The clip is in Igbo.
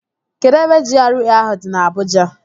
Kedụ ebe GRA ahụ dị na Abuja?